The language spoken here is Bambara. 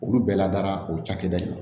Olu bɛɛ ladara o cakɛda in na